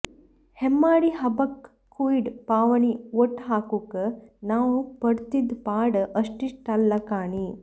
ಹೆಮ್ಮಾಡಿ ಹಬ್ಬಕ್ ಕುಯ್ಡ್ ಪಾವಣಿ ಒಟ್ಟ್ ಹಾಕುಕ್ ನಾವ್ ಪಡ್ತಿದ್ ಪಾಡ್ ಅಷ್ಟಿಷ್ಟಲ್ಲ ಕಾಣಿ